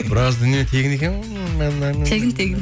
біраз дүние тегін екен ғой тегін тегін